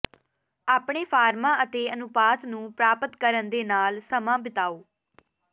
ਆਪਣੇ ਫਾਰਮਾਂ ਅਤੇ ਅਨੁਪਾਤ ਨੂੰ ਪ੍ਰਾਪਤ ਕਰਨ ਦੇ ਨਾਲ ਸਮਾਂ ਬਿਤਾਓ